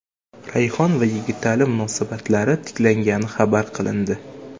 Rayhon va Yigitali munosabatlari tiklangani xabar qilindi.